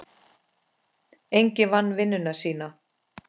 Enginn vann vinnuna sína.